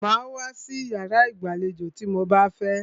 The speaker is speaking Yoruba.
Màá wá sí iyàrá ìgbàlejò tí mo bá fẹ́!